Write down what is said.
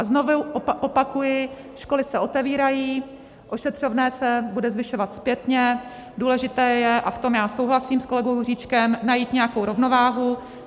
A znovu opakuji, školy se otevírají, ošetřovné se bude zvyšovat zpětně, důležité je, a v tom já souhlasím s kolegou Juříčkem, najít nějakou rovnováhu.